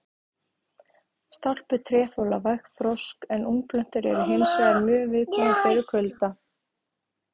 Stálpuð tré þola vægt frost en ungplöntur eru hins vegar mjög viðkvæmar fyrir kulda.